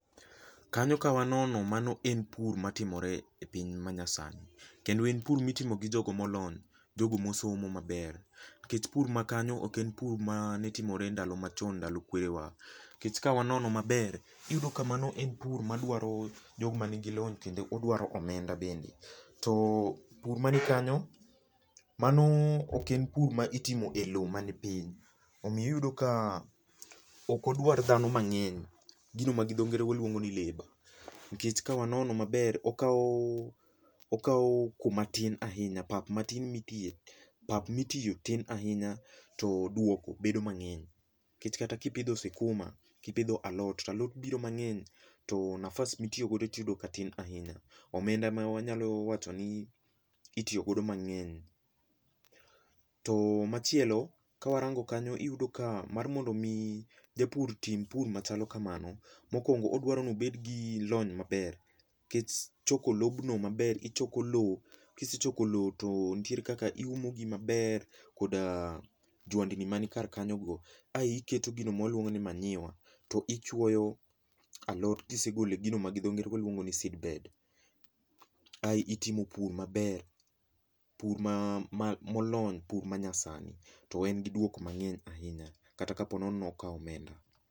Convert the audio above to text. Kanyo ka wanono mano en pur matimore epiny ma nyasani. Kendo en pur motimo gi jogo molony, jogo mosomo maber, nikech pur makanyo ok en pur mane timore e ndalo machon ndalo kwere wa. NIkech ka wanono maber, iyudo ka mano en pur madwaro jogo man gi lony kendo odwaro omenda bende. To pur mani kanyo, mano ok en pur ma itimo e lo mani piny, omiyo iyudo ka ok odwaro dhano mang'eny, gino ma dho ngere luongo ni labour, nikech ka wanono maber, okao okao kuma tin ahinya, pap matin mitie pap matie tin ahinya to duoko bedo mang'eny. Nikech kata ka ipidho sikuma, kipidho alot to alot biro mang'eny to nafas mitiyogo tiyudo ka tin ahinya. Omenda ema wanyalo wacho ni itiyo godo mang'eny. To machielo ka warango kanyo, iyudo ni mar mondo mi japur tim pur machalo kamano, mokuongo odwaro ni obed gi lony maber, kech choko lobno maber, ichoko lowo, kisechoko lowo to nitiere kaka iumo gi maber koda jwandni man kar kanyo go. Ai iketo gino ma waluongo ni manyiwa to ichwoyo alot kisegolo e gino ma gi dho ngere waluongo ni seed bed. Ai itimo pur maber, pur ma ma molony, pur ma nya sani. To en gi duoko mang'eny ahinya kata ka po nono ni okao omenda.